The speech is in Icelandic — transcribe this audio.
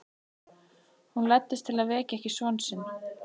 Hún læddist til að vekja ekki son sinn.